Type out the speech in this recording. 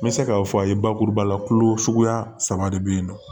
N bɛ se k'a fɔ a ye bakuruba la kolo suguya saba de bɛ yen nɔ